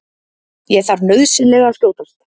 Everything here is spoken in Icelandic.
Ég þarf nauðsynlega að skjótast.